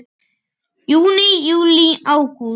Júní Júlí Ágúst